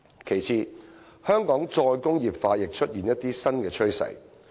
其次，香港"再工業化"亦出現一些新趨勢。